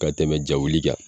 Ka tɛmɛ ja wuli kan